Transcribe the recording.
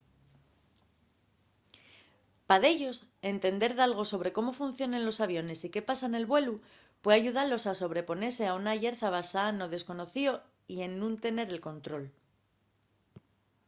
pa dellos entender dalgo sobre cómo funcionen los aviones y qué pasa nel vuelu pue ayudalos a sobreponese a una llerza basada no desconocío y en nun tener el control